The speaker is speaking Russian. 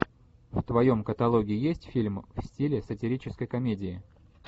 в твоем каталоге есть фильм в стиле сатирической комедии